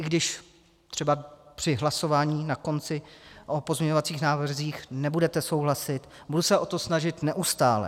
I když třeba při hlasování na konci o pozměňovacích návrzích nebudete souhlasit, budu se o to snažit neustále.